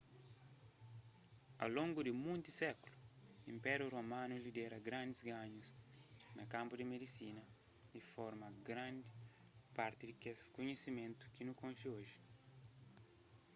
au longu di monti sékulu inpériu romanu lidera grandis ganhus na kanpu di medisina y forma grandi parti di kes kunhisimentu ki nu konxi oji